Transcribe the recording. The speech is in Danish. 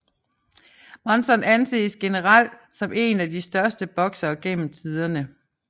Monzon anses generelt som en af de største boksere gennem tiderne